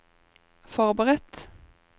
forberedt